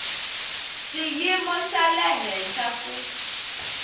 xiyimo xa le henhla ku